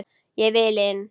Ég vil inn, sagði Ari.